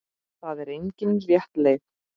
Það er engin rétt leið.